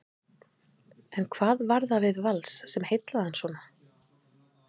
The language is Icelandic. En hvað var það við Vals sem heillaði hann svona?